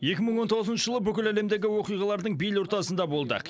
екі мың он тоғызыншы жылы бүкіл әлемдегі оқиғалардың бел ортасында болдық